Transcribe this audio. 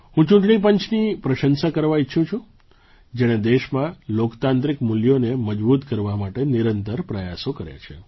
હું ચૂંટણી પંચની પ્રશંસા કરવા ઇચ્છું છું જેણે દેશમાં લોકતાંત્રિક મૂલ્યોને મજબૂત કરવા માટે નિરંતર પ્રયાસો કર્યા છે